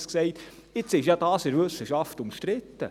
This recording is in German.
Nun ist das ja in der Wissenschaft umstritten.